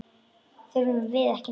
Þurfum við ekki neitt?